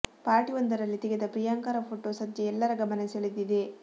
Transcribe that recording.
party ಒಂದರಲ್ಲಿ ತೆಗೆದ ಪ್ರಿಯಾಂಕರ ಫೋಟೋ ಸದ್ಯ ಎಲ್ಲರ ಗಮನ ಸೆಳೆದಿದೆ